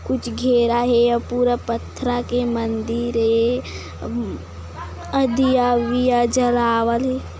कुछ घेरा हे और पूरा पत्थ्रा के मंदीर हे अम और दिया वीया जलावल--